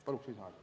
Palun lisaaega!